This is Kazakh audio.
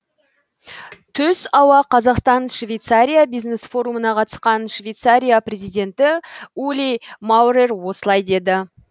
түс ауа қазақстан швейцария бизнес форумына қатысқан швейцария президенті ули маурер осылай деді